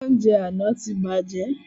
Oúnjẹ àna tí bàjẹ́